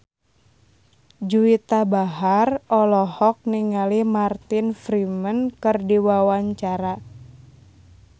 Juwita Bahar olohok ningali Martin Freeman keur diwawancara